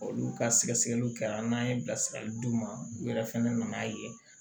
Olu ka sɛgɛsɛliw kɛra n'an ye bilasirali d'u ma u yɛrɛ fɛnɛ nan'a ye